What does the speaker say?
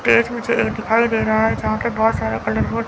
मुझे ये दिखाई दे रहा है यहां पे बहुत सारा कलर बोर्ड --